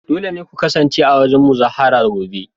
Dole ne ku kasance a wurin muzaharar gobe